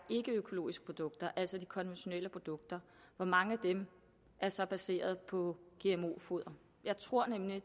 ikkeøkologiske produkter altså de konventionelle produkter hvor mange af dem der så er baseret på gmo foder jeg tror nemlig